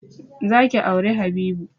Za ki auri Habibu!